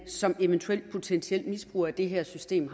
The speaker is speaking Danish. som potentiel misbruger af det her system